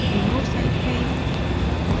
remote site pane